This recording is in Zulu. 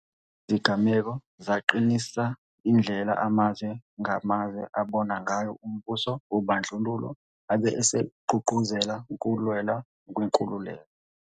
Lezi zigameko zaqinisa indlela amazwe ngamazwe abona ngayo umbuso wobandlululo abe esegqugquzela ukulwelwa kwenkululeko.